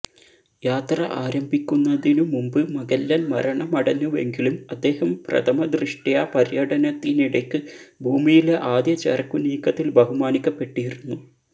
യാത്ര ആരംഭിക്കുന്നതിനു മുൻപ് മഗല്ലൻ മരണമടഞ്ഞുവെങ്കിലും അദ്ദേഹം പ്രഥമദൃഷ്ട്യാ പര്യടനത്തിനിടയ്ക്ക് ഭൂമിയിലെ ആദ്യ ചരക്കുനീക്കത്തിൽ ബഹുമാനിക്കപ്പെട്ടിരുന്നു